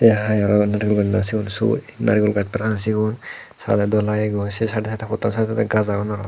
tey yot naregul gaaj na siyun sug naregul gaaj parapang siyun sadedo lagegoi sei saidey saidey pottan saidot gaaj agon aro.